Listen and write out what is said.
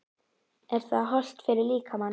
Er það hollt fyrir, fyrir líkamann?